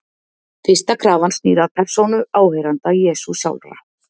Fyrsta krafan snýr að persónu áheyrenda Jesú sjálfra.